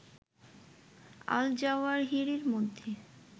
আল জাওয়াহিরির মধ্যে